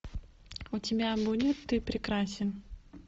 у тебя будет ты прекрасен